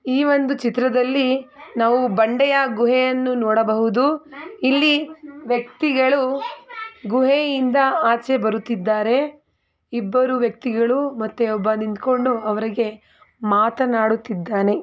ಈ ಒಂದು ಚಿತ್ರದಲ್ಲಿ ನಾವು ಬಂಡೆಯ ಗುಹೆಯನ್ನು ನೋಡಬಹುದು ಇಲ್ಲಿ ವ್ಯಕ್ತಿಗಳು ಗುಹೆಯಿಂದ ಆಚೆ ಬರುತ್ತಿದ್ದಾರೆ ಇಬ್ಬರು ವ್ಯಕ್ತಿಗಳು ಮತ್ತೆ ಒಬ್ಬ ನಿಂತ್ಕೊಂಡು ಮಾತನಾಡುತ್ತಿದ್ದಾನೆ.